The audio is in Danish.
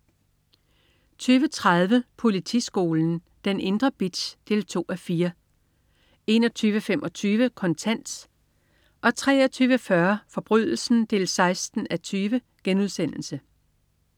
20.30 Politiskolen. Den indre bitch. 2:4 21.25 Kontant 23.40 Forbrydelsen 16:20*